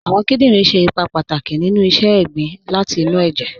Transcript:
Awọn kìdìnrin ṣẹ̀ ìpà pátàkì nínu sísẹ̀ ègbìn láti inú ẹ̀jẹ̀